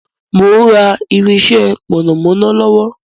Mo ń rà irinsẹ́ mọ̀nàmọ́ná lọ́wọ́